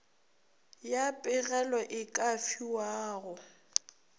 ya pegelo e ka fiwago